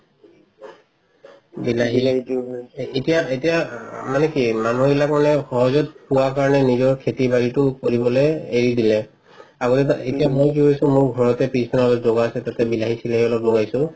বিলাহি এতিয়া এতিয়া মানে কি মানুহ বিলাকে সহজত পোৱা কাৰণে নিজৰ খেতি বাৰিতো কৰিবলে এৰি দিলে আগতে বা এতিয়া মই কি কৰিছো মোৰ ঘৰতে পিছ ফালে জুগাৰ আছে তাতে বিলাহি চিলাহি অলপ লগাইছো